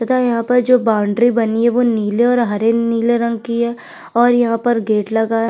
तथा यहां पर जो बॉउंड्री बनी है वो नीले और हरे नीले रंग की है और यहाँ पर गेट लगा है।